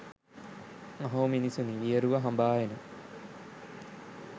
අහෝ මිනිසුනි වියරුව හඹා එන